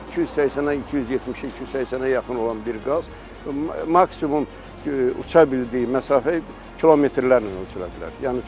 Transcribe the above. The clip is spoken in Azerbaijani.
280-ə 270-ə 280-ə yaxın olan bir qaz maksimum uça bildiyi məsafə kilometrlərlə ölçülə bilər.